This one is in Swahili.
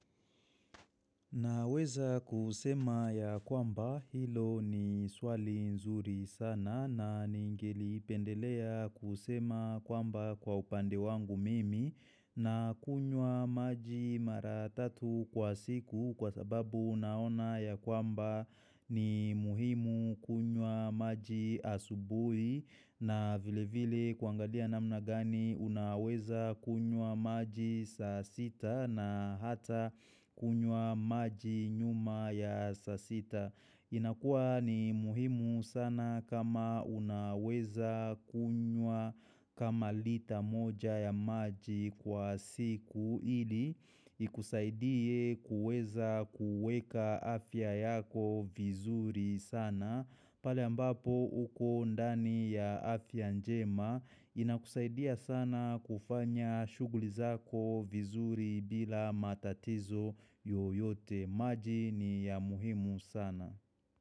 Naweza kusema ya kwamba hilo ni swali nzuri sana na ningeli pendelea kusema kwamba kwa upande wangu mimi na kunywa maji maratatu kwa siku kwa sababu naona ya kwamba ni muhimu kunywa maji asubuhi na vile vile kuangalia na mnagani unaweza kunywa maji sasita na hata kunywa maji nyuma ya sasita inakua ni muhimu sana kama unaweza kunywa kama lita moja ya maji kwa siku ili Ikusaidie kuweza kuweka afya yako vizuri sana pale ambapo uko ndani ya afia njema inakusaidia sana kufanya shuguli zako vizuri bila matatizo yoyote. Maji ni ya muhimu sana.